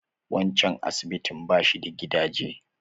Waccan asibitin bashi da gadaje.